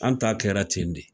An ta kɛra ten de